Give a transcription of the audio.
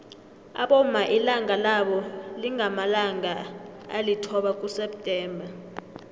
abomma ilanga labo lingamalanga alithoba kuseptember